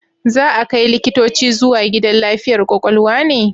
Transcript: Za a kai likitoci zuwa gidan lafiyar kwakwalwa ne?